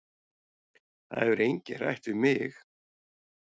Það hefur enginn rætt við mig